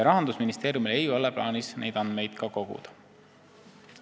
Rahandusministeeriumil ei ole ka plaanis neid andmeid koguda.